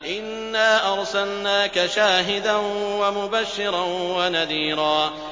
إِنَّا أَرْسَلْنَاكَ شَاهِدًا وَمُبَشِّرًا وَنَذِيرًا